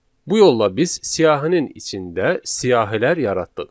Bu yolla biz siyahının içində siyahilər yaratdıq.